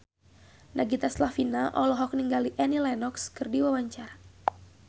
Nagita Slavina olohok ningali Annie Lenox keur diwawancara